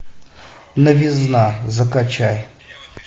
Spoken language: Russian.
новизна закачай